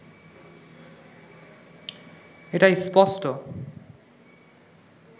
এটা স্পষ্ট